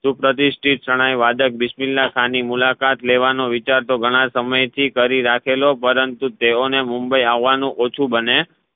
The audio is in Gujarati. સુપ્રતીષ્ઠત શરણાઈ વાદક બિસ્મીલાહ ખા ની મુલાકાત લેવાનો તો ઘણા સમય થી કરી રાખેલો પરંતુ તેઓ ને મુંબઈ અવાનૂ ઓછું બને